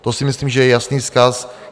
To si myslím, že je jasný vzkaz.